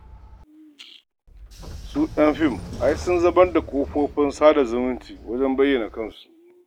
Su ƴan fim ai sun zamar da kafofin sada zumunta wajen bayyana kansu.